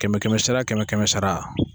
Kɛmɛ kɛmɛsara kɛmɛ kɛmɛsara.